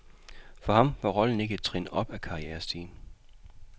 For ham var rollen ikke et trin op ad karrierestigen.